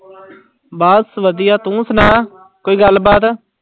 ਬਸ ਵਧੀਆ ਤੁੰ ਸੁਣਾ ਕੋਈ ਗੱਲਬਾਤ।